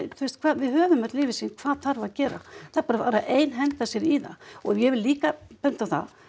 við höfum öll yfirsýn hvað þarf að gera það bara þarf að einhenda sér í það og ég vil líka benda á það